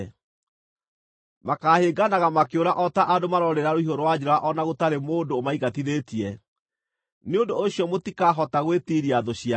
Makaahĩnganaga makĩũra o ta andũ maroorĩra rũhiũ rwa njora o na gũtarĩ mũndũ ũmaingatithĩtie. Nĩ ũndũ ũcio mũtikahota gwĩtiiria thũ cianyu.